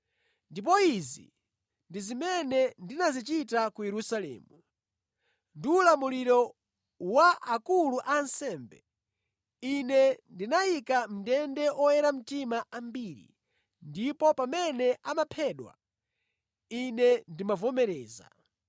Ndipo izi ndi zimene ndinazichita ku Yerusalemu. Ndi ulamuliro wa akulu a ansembe, ine ndinayika mʼndende oyera mtima ambiri, ndipo pamene amaphedwa, ine ndimavomereza.